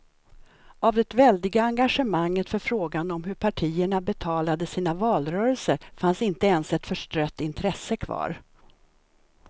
Av det väldiga engagemanget för frågan om hur partierna betalade sina valrörelser fanns inte ens ett förstrött intresse kvar.